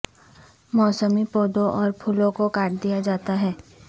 موسمی پودوں اور پھولوں کو کاٹ دیا جاتا ہے